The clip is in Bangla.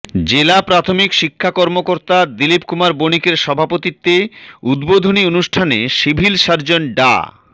জেলা প্রাথমিক শিক্ষা কর্মকর্তা দিলিপ কুমার বণিকের সভাপতিত্বে উদ্বোধনী অনুষ্ঠানে সিভিল সার্জন ডা